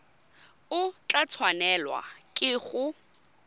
o tla tshwanelwa ke go